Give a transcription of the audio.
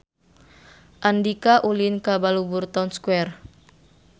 Andika ulin ka Balubur Town Square